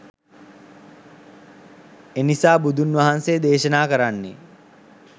එනිසා බුදුන් වහන්සේ දේශනා කරන්නේ